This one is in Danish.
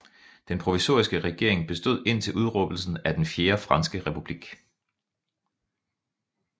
Den provisoriske regering bestod indtil udråbelsen af den Fjerde Franske Republik